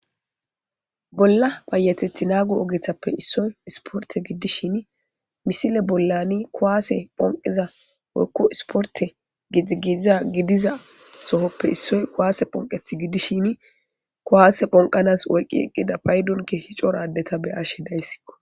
bolla bayatethi naagu ogethappe issoy isporte giddishini misile bollani kowaase phonqiza okku isporte gigiiza gidiza sohoppe issoy kowaase phonqeth giddishini kuwaase phonqanas oyqqi eqqida paydonke hi coradeta beyashe dayssikko